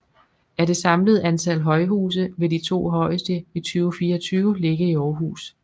Af det samlede antal højhuse vil de 2 højeste i 2024 ligge i Aarhus